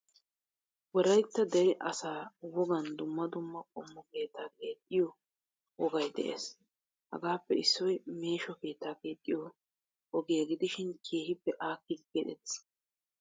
Wolaytta dere asa wogaan dumma dumma qommo keettaa keexxiyo wogaay de'ees. Hagappe issoy meesho keettaa keexiyo ogiyaa gidishin keehippe akkidi keexettees.